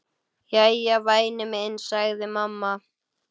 Jæja, væni minn, sagði mamma.